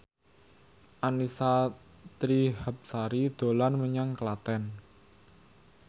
Annisa Trihapsari dolan menyang Klaten